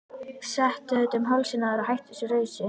Settu þetta um hálsinn á þér og hættu þessu rausi!